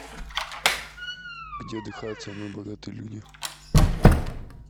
где отдыхают самые богатые люди